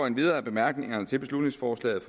endvidere af bemærkningerne til beslutningsforslaget